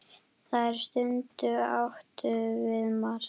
Þær stundir áttum við margar.